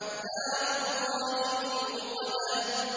نَارُ اللَّهِ الْمُوقَدَةُ